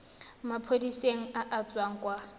maphodiseng a a tswang kwa